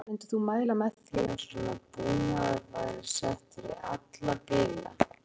Brynja Þorgeirsdóttir: Myndir þú mæla með því að svona búnaður væri settur í alla bíla?